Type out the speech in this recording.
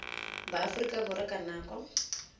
ba aforika borwa ka nako